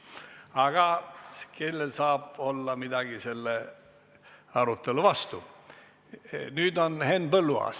Aga kellel saab olla midagi selle arutelu vastu.